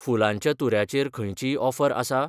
फुुलांच्या तुऱ्या चेर खंयचीय ऑफर आसा ?